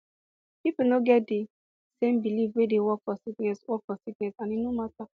pipo no get de same belief wey dey work for sickness work for sickness and e no mata